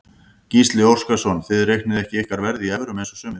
Gísli Óskarsson: Þið reiknið ekki ykkar verð í evrum eins og sumir?